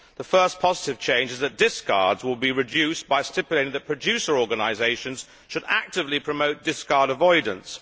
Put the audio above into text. The first positive change is that discards will be reduced by stipulating that producer organisations should actively promote discard avoidance.